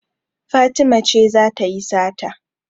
Fatima ce za ta yi sata.